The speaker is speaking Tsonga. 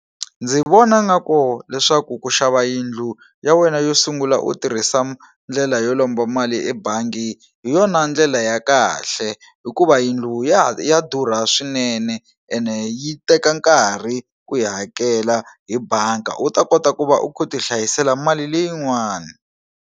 Ndzi vona ngaku leswaku ku xava yindlu ya wena yo sungula u tirhisa ndlela yo lomba mali ebangi hi yona ndlela ya kahle hikuva yindlu ya ha ya durha swinene ene yi teka nkarhi ku yi hakela hi banga u ta kota ku va u khu u ti hlayisela mali leyin'wani.